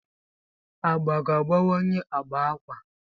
Agba ga-agbanwe agba akwa.